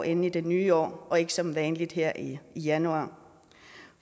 ind i det nye år og ikke som vanligt her i januar